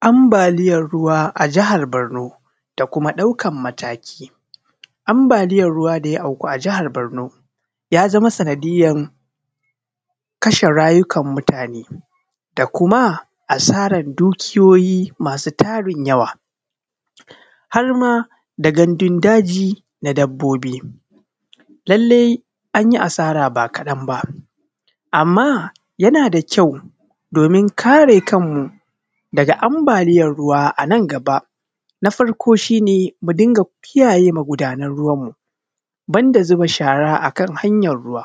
Anbaliyan ruwa da auko a jihar Borno ya zama sanadiyyan kashe rayukan mutane da kuma saran dukiyoyi masu tarin yawa, harma da gandundaji da dabbobi. Lallee an yi asara bakaɗan ba, amma yana da kyau domin kare kanmu daga anbaliyan ruwa anan gaba. Na farko shi ne mu dinga kiyaye magudanan ruwanmu banda zuba shara a hanyar ruwa.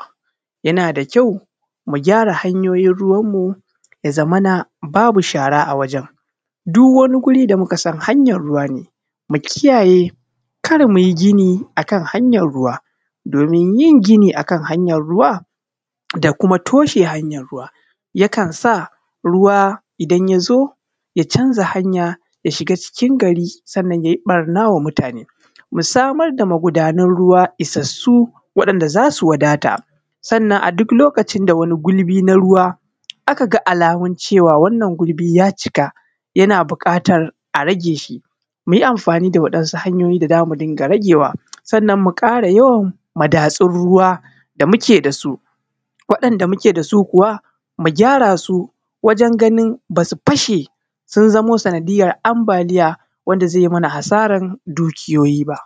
Yana da kyau mu gyara hanyoyin ruwanmu, ya zamana babu shara a wajen dukkani wuri da mu ka san hanyar ruwa ne. Mu kiyaye, kar mu yi gini a hanyar ruwa, domin yin gini a hanyar ruwa da kuma tushe hanyar ruwa ya ƙansa ruwa idan ya zo, ya canza hanya, ya shiga cikin gari, ya yi ɓarna wa mutane. Mu ƙara samar da magudanan ruwa isassu wa waɗanda za su wadata. Sannan a duk lokacin da a ka ga wani gulbi nar ruwa, cewa wannan gulbi ya cika, yana buƙatan a rageshi, mu yi amfani da wasu hanyoyi da za mu rage shi. Sannan mu ƙara yawan madatsun ruwa da muke da su. Waɗanda muke da su, mu gyarasu, wajen ganin ba su fashe sun zaamu sanadiyyan anbaliya wanda ze mana asaran dukiyoyi fa.